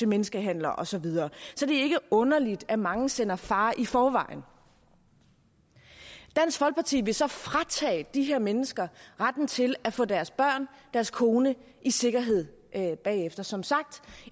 menneskehandlere og så videre så det er ikke underligt at mange sender far i forvejen dansk folkeparti vil så fratage de her mennesker retten til at få deres børn deres kone i sikkerhed bagefter som sagt